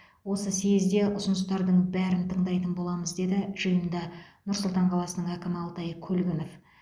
осы съезде ұсыныстардың бәрін тыңдайтын боламыз деді жиында нұр сұлтан қаласының әкімі алтай көлгінов